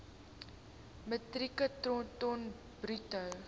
metrieke ton bruto